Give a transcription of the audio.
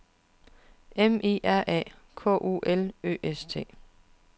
M I R A K U L Ø S T